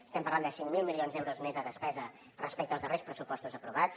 estem parlant de cinc mil milions d’euros més de despesa respecte als darrers pressupostos aprovats